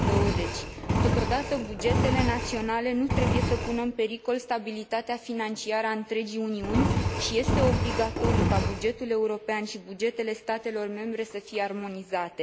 2020. Totodată, bugetele naționale nu trebuie să pună în pericol stabilitatea financiară a întregii Uniuni și este obligatoriu ca bugetul european și bugetele statelor membre să fie armonizate.